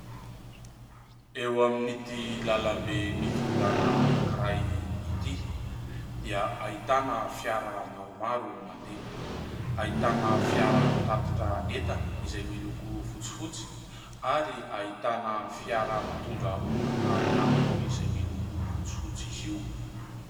Eo amin'ity lalambe mikodana anankiray ity dia ahitana fiara maromaro mandeha, ahitana fiara-pitatitra entana izay miloko fotsifotsy ary ahitana fiara mpitondra olona ihany koa izay miloko fotsifotsy izy io.